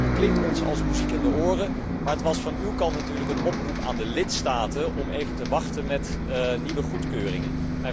Dat klinkt ons als muziek in de oren, maar het was van uw kant natuurlijk een oproep aan de lidstaten om even te wachten met nieuwe goedkeuringen.